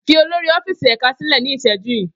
Fi olori ọfíìsì ẹka silẹ ni iṣẹju yii!